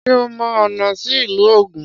Ṣé ò mọ ọ̀nà sí ìlú Ògùn?